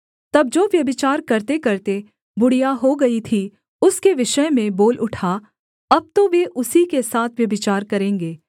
तब जो व्यभिचार करतेकरते बुढ़िया हो गई थी उसके विषय में बोल उठा अब तो वे उसी के साथ व्यभिचार करेंगे